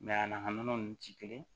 a n'a ka nɔnɔ nunnu ti kelen ye